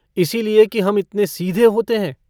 इसी लिए कि हम इतने सीधे होते हैं।